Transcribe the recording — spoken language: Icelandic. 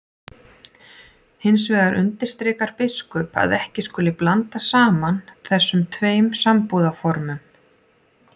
Hins vegar undirstrikar biskup að ekki skuli blanda saman þessum tveim sambúðarformum.